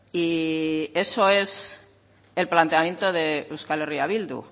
y eso es el planteamiento de euskal herria bildu